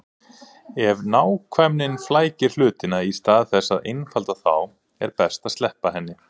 Ef nákvæmnin flækir hlutina í stað þess að einfalda þá er best að sleppa henni.